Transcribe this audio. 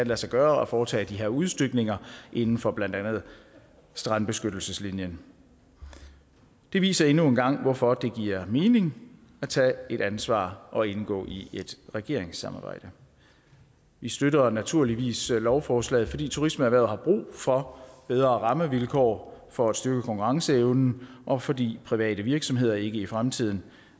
lade sig gøre at foretage de her udstykninger inden for blandt andet strandbeskyttelseslinjen det viser endnu en gang hvorfor det giver mening at tage et ansvar og indgå i et regeringssamarbejde vi støtter naturligvis lovforslaget fordi turismeerhvervet har brug for bedre rammevilkår for at styrke konkurrenceevnen og fordi private virksomheder i fremtiden